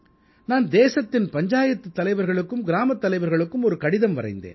நான் தேசத்தின் பஞ்சாயத்துத் தலைவர்களுக்கும் கிராமத் தலைவர்களுக்கும் ஒரு கடிதம் வரைந்தேன்